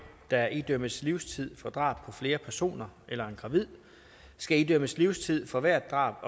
der idømmes livstid for drab på flere personer eller en gravid skal idømmes livstid for hvert drab